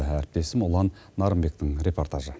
әріптесім ұлан нарынбектің репортажы